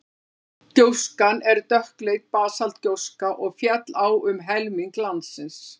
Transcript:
gjóskan er dökkleit basaltgjóska og féll á um helming landsins